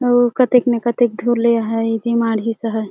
अउ कतेक न कतेक धुल ले आहय इ माढ़ीस हे।